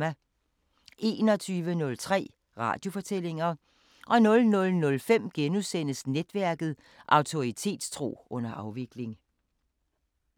21:03: Radiofortællinger 00:05: Netværket: Autoritetstro under afvikling *